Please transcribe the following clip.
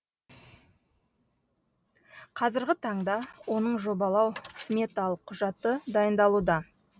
қазіргі таңда оның жобалау сметалық құжаты дайындалуда